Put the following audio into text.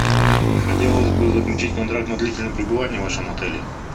хотелось бы заключить контракт на длительное пребывание в вашем отеле